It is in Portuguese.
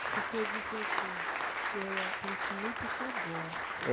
E o senhor disse assim, eu a continuo porque eu gosto. É